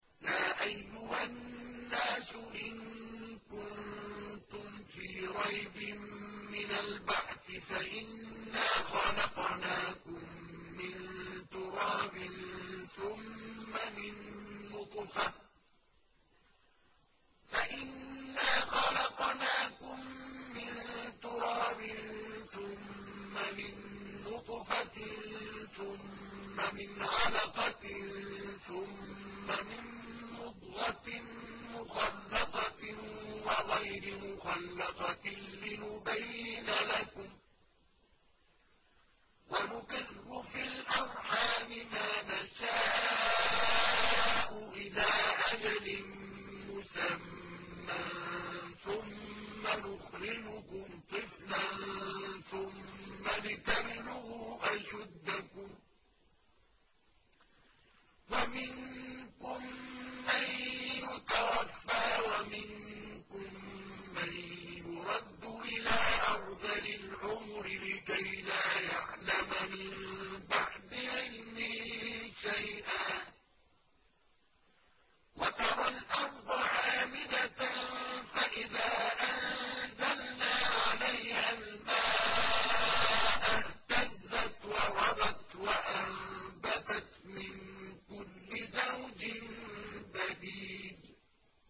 يَا أَيُّهَا النَّاسُ إِن كُنتُمْ فِي رَيْبٍ مِّنَ الْبَعْثِ فَإِنَّا خَلَقْنَاكُم مِّن تُرَابٍ ثُمَّ مِن نُّطْفَةٍ ثُمَّ مِنْ عَلَقَةٍ ثُمَّ مِن مُّضْغَةٍ مُّخَلَّقَةٍ وَغَيْرِ مُخَلَّقَةٍ لِّنُبَيِّنَ لَكُمْ ۚ وَنُقِرُّ فِي الْأَرْحَامِ مَا نَشَاءُ إِلَىٰ أَجَلٍ مُّسَمًّى ثُمَّ نُخْرِجُكُمْ طِفْلًا ثُمَّ لِتَبْلُغُوا أَشُدَّكُمْ ۖ وَمِنكُم مَّن يُتَوَفَّىٰ وَمِنكُم مَّن يُرَدُّ إِلَىٰ أَرْذَلِ الْعُمُرِ لِكَيْلَا يَعْلَمَ مِن بَعْدِ عِلْمٍ شَيْئًا ۚ وَتَرَى الْأَرْضَ هَامِدَةً فَإِذَا أَنزَلْنَا عَلَيْهَا الْمَاءَ اهْتَزَّتْ وَرَبَتْ وَأَنبَتَتْ مِن كُلِّ زَوْجٍ بَهِيجٍ